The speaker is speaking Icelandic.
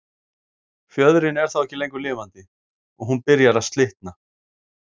Fjöðrin er þá ekki lengur lifandi og hún byrjar að slitna.